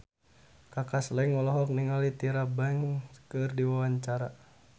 Kaka Slank olohok ningali Tyra Banks keur diwawancara